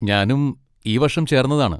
ഞാനും ഈ വർഷം ചേർന്നതാണ്.